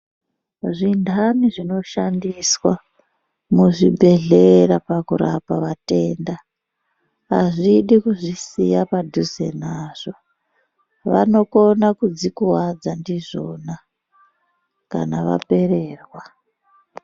Zvintani zvinoshandiswa muzvibhedhleya pakurapa vatenda azvidi kuzvisiya padhuze navo .Vanokona kuzvikuvadza nazvo kana vapererwa.